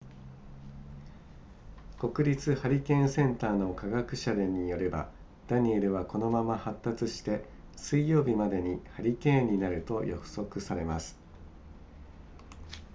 国立ハリケーンセンターの科学者らによればダニエルはこのまま発達して水曜日までにハリケーンになると予測されます